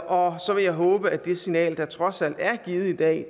og så vil jeg håbe at det signal der trods alt er givet i dag